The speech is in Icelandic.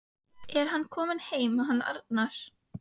Er hann kominn heim hann Arnar?